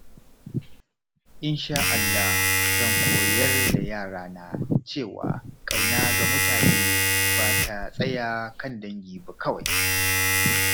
Insha Allah, zan koyar da yarana cewa ƙauna ga mutane ba ta tsaya kan dangi ba kawai.